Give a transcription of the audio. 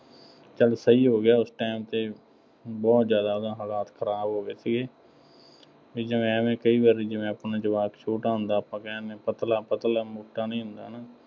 ਚੱਲ ਸਹੀ ਹੋ ਗਿਆ ਉਸ time ਤੇ, ਬਹੁਤ ਜ਼ਿਆਦਾ ਉਹਦਾ ਹਾਲਾਤ ਖਰਾਬ ਹੋ ਗਏ ਸੀਗੇ, ਅਤੇ ਜਿਵੇਂ ਐਵੇਂ ਕਈ ਵਾਰੀ ਜਿਵੇਂ ਆਪਣੇ ਜਵਾਕ ਛੋਟਾ ਹੁੰਦਾ, ਆਪਾਂ ਕਹਿ ਦਿੰਦੇ ਹਾਂ, ਪਤਲਾ ਪਤਲਾ, ਮੋਟਾ ਨਹੀਂ ਹੁੰਦਾ।